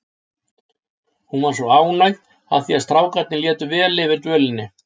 Hún var svo ánægð af því að strákarnir létu vel yfir dvölinni.